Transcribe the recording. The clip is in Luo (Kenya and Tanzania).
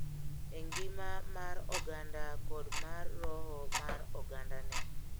E ngima mar oganda kod mar roho mar ogandane.